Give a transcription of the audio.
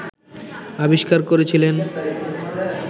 আবিস্কার করেছিলেন